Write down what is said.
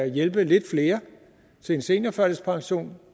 hjælpe lidt flere til en seniorførtidspension